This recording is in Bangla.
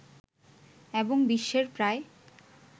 এবং বিশ্বের প্রায়